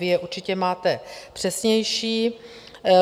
Vy je určitě máte přesnější.